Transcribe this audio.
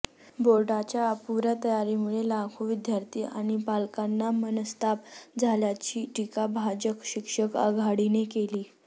बोर्डाच्या अपुऱ्या तयारीमुळे लाखो विद्यार्थी आणि पालकांना मनस्ताप झाल्याची टीका भाजप शिक्षक आघाडीने केली